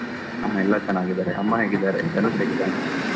ಹಾ, ಎಲ್ಲ ಚೆನ್ನಾಗಿದ್ದಾರೆ. ಅಮ್ಮ ಹೇಗಿದ್ದಾರೆ? ಧನುಷ್ ಹೇಗಿದ್ದಾನೆ?